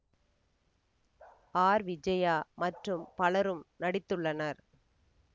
R Vijaya மற்றும் பலரும் நடித்துள்ளனர்